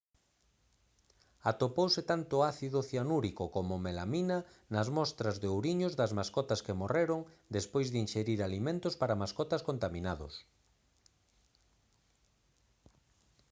atopouse tanto ácido cianúrico como melamina nas mostras de ouriños das mascotas que morreron despois de inxerir alimentos para mascotas contaminados